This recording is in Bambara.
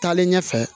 Taalen ɲɛfɛ